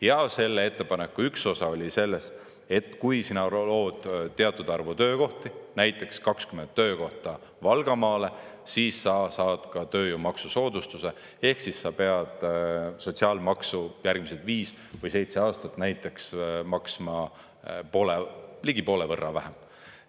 Ja selle ettepaneku üks osa oli selles, et kui sina lood teatud arvu töökohti, näiteks 20 töökohta Valgamaale, siis sa saad ka tööjõu maksusoodustuse, ehk siis sa pead sotsiaalmaksu järgmised viis või seitse aastat näiteks maksma poole, ligi poole võrra vähem.